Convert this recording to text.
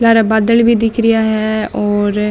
लारा बदल भी दिख रिया है और --